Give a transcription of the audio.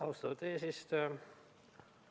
Austatud eesistuja!